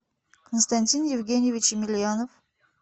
константин евгеньевич емельянов